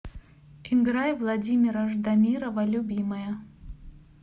играй владимира ждамирова любимая